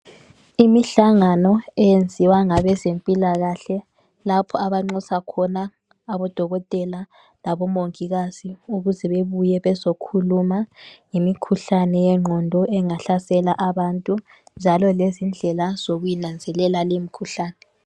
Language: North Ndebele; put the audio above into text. Imihlangano eyenziwa ngabezempilakahle lapho abanxusa khona abodokotela labomongikazi ukuze bebuye bezokhuluma ngemikhuhlane yengqondo engahlasela abantu njalo lezindlela zokuyinanzelela limikhuhlane.